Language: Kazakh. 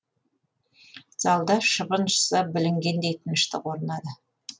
залда шыбын ұшса білінгендей тыныштық орнады